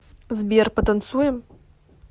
сбер потанцуем